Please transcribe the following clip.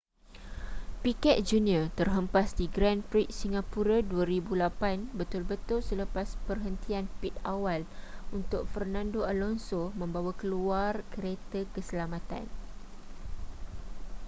piquet jr terhempas di grand prix singapura 2008 betul-betul selepas perhentian pit awal untuk fernando alonso membawa keluar kereta keselamatan